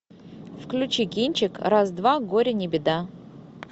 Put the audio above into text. включи кинчик раз два горе не беда